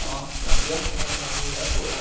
Nossa, aí a mulher foi lá.